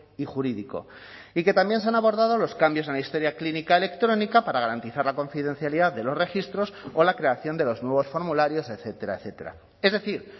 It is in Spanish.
y jurídico y que también se han abordado los cambios en la historia clínica electrónica para garantizar la confidencialidad de los registros o la creación de los nuevos formularios etcétera etcétera es decir